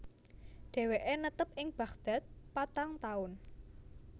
Dheweke netep ing Baghdad patang taun